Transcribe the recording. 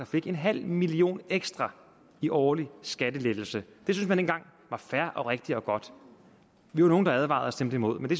fik en halv million ekstra i årlig skattelettelse det synes man dengang var fair og rigtigt og godt vi var nogle der advarede og stemte imod men det